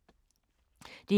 DR1